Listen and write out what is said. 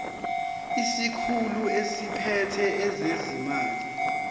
isikhulu esiphethe ezezimali